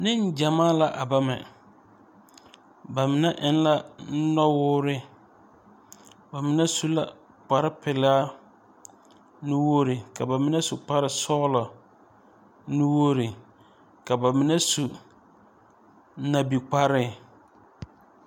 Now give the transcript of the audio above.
Neŋgyamaa la a bama ba mine eŋ la nɔwoore ba mine su la kparepelaa nuwogre ka ba mine su kparesɔglɔ nuwogre ka ba mine su nabikpare.